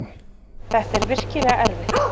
Þetta er virkilega erfitt.